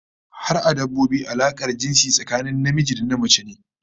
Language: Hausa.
Har a dabbobi alakar jinsi tsakanin namiji da namace ne